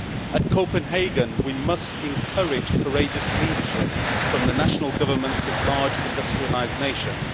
At Copenhagen, we must encourage courageous leadership from the national governments of large industrialised nations.